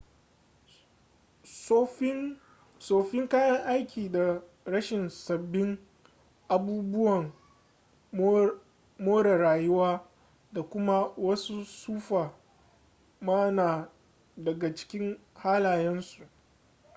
tsoffin kayan aiki da rashin sabbin abubuwan more rayuwa da kuma wasu tsufa ma na daga cikin halayen su